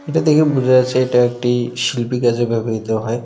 এটা দেখেই বুঝা যাচ্ছে এটা একটি শিল্পী কাজে ব্যবহৃত হয়।